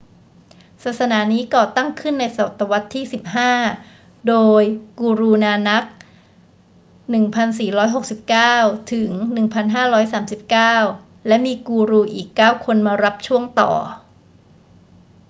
ศาสนานี้ก่อตั้งขึ้นในศตวรรษที่ 15 โดย guru nanak 1469–1539 และมีกูรูอีก 9 คนมารับช่วงต่อ